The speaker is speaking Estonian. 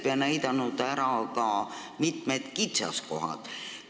Ka on ära näidatud mitmed kitsaskohad.